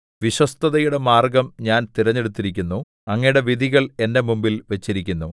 വിശ്വസ്തതയുടെ മാർഗ്ഗം ഞാൻ തിരഞ്ഞെടുത്തിരിക്കുന്നു അങ്ങയുടെ വിധികൾ എന്റെ മുമ്പിൽ വച്ചിരിക്കുന്നു